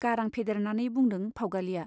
गारां फेदेरनानै बुंदों फाउगालिया।